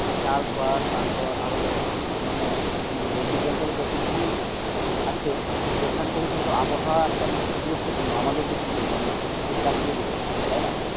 চাষবাস তারপর আরও যত কিছু মানে কি বলব agriculture যত কিছুই আছে সেখান থেকে কিন্তু আবহাওয়া একটা বিশেষ গুরুত্ব পূর্ণ আমাদের দিক থেকে মানে বিশেষ করে চাষিদের দিক থেকে তাই না,